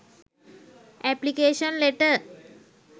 application letter